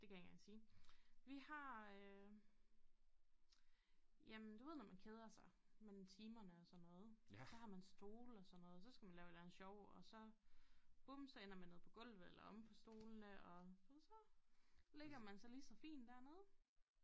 Det kan jeg ikke engang sige vi har øh jamen du ved når man keder sig mellem timerne og sådan noget så har man stole og sådan noget så skal man lave et eller andet sjov og så bum så ender man nede på gulvet eller omme på stolene og du ved så ligger man sig lige så fint dernede